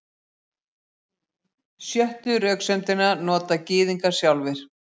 Sjöttu röksemdina nota Gyðingar sjálfir.